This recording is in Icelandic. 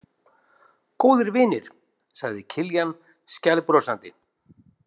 Góðir vinir, sagði Kiljan skælbrosandi.